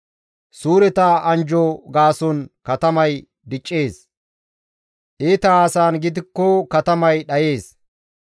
Suureta anjjo gaason katamay diccees; iita haasayan gidikko katamay dhayees.